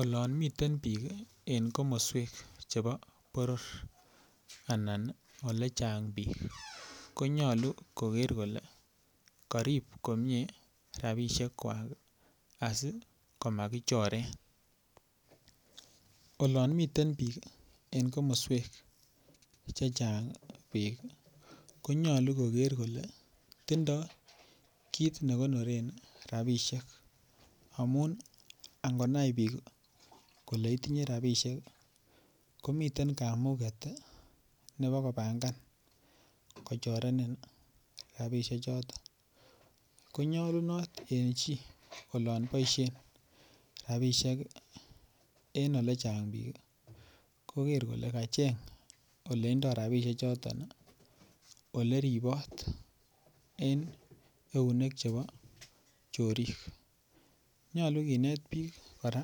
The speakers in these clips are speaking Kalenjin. Olon miten bik en komoswek chebo boror anan Ole chang bik ko nyolu koger kole karib komie rabisiek kwak asi komakichoren olon miten en komoswek Che Chang bik konyolu koger kole tindoi kit ne konoren rabisiek amun angonai bik kole itinye rabisiek ko miten kamuget nebo kobangan kochorenin rabisiek choton ko nyolunot en chi olon boisien rabisiek en Ole chang bik koger kole kacheng Ole indoi rabisiechuto Ole ribot en eunek chebo chorik nyolu kinet bik kora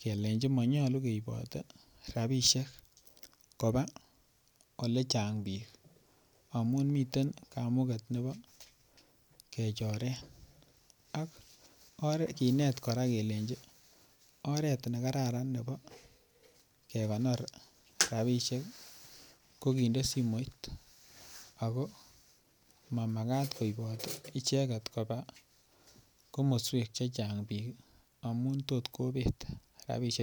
kelenji manyolu keibote rabisiek koba Ole chang bik amun miten kamuget nebo kechoren ak kinet kora kelenji oret nekararan nebo kekonor rabisiek ko kinde simoit ako ma Makat koibot icheget koba komoswek Che Chang bik amun tot kobet rabisiechoton